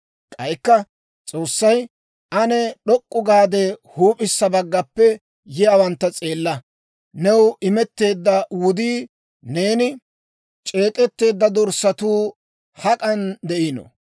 K'aykka S'oossay, «Ane d'ok'k'u gaade, huup'issa baggaappe yiyaawantta s'eella. New imetteedda wudii, neeni c'eek'etteedda dorssatuu hak'an de'ino?